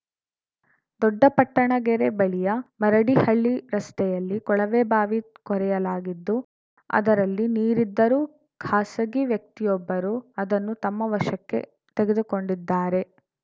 ದೊಡ್ಡ ಪಟ್ಟಣಗೆರೆ ಬಳಿಯ ಮರಡಿ ಹಳ್ಳಿ ರಸ್ತೆಯಲ್ಲಿ ಕೊಳವೆ ಬಾವಿ ಕೊರೆಯಲಾಗಿದ್ದು ಅದರಲ್ಲಿ ನೀರಿದ್ದರೂ ಖಾಸಗಿ ವ್ಯಕ್ತಿಯೊಬ್ಬರು ಅದನ್ನು ತಮ್ಮ ವಶಕ್ಕೆ ತೆಗೆದುಕೊಂಡಿದ್ದಾರೆ